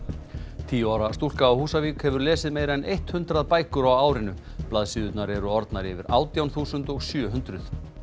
tíu ára stúlka á Húsavík hefur lesið meira en eitt hundrað bækur á árinu blaðsíðurnar eru orðnar yfir átján þúsund og sjö hundruð